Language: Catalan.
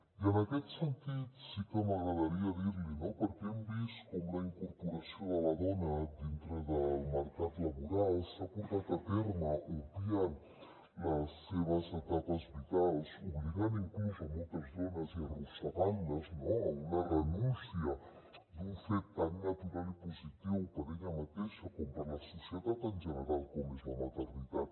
i en aquest sentit sí que m’agradaria dir l’hi no perquè hem vist com la incorporació de la dona dintre del mercat laboral s’ha portat a terme obviant les seves etapes vitals obligant inclús moltes dones i arrossegant les a una renúncia d’un fet tan natural i positiu per a ella mateixa com per a la societat en general com és la maternitat